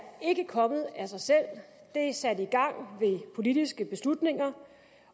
ikke kommet af sig selv af politiske beslutninger